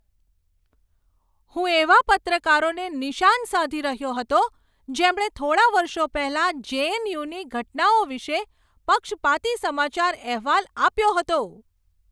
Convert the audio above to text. હું એવા પત્રકારોને નિશાન સાધી રહ્યો હતો જેમણે થોડા વર્ષો પહેલા જે.એન.યુ.ની ઘટનાઓ વિશે પક્ષપાતી સમાચાર અહેવાલ આપ્યો હતો.